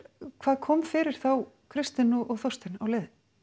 hvað kom fyrir þá Kristin og Þorstein á leiðinni